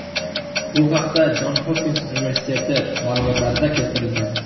Bu haqda Jon Hopkins universiteti ma’lumotlarida keltirilgan .